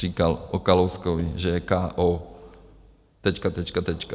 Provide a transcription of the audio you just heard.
Říkal o Kalouskovi, že je ko tečka, tečka, tečka.